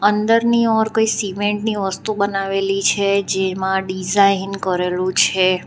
અંદરની ઓર સિમેન્ટની વસ્તુ બનાવેલી છે જેમાં ડિઝાઇન કરેલું છે.